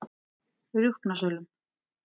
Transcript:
Rjúpnasölum